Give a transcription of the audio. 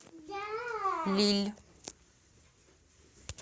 лилль